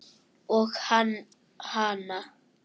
Og hann hana.